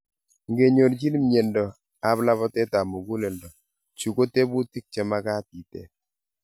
Ngenyorchiin myendo ap labateet ap �muguleldo, chu ko tebuutik chemagaat iteep.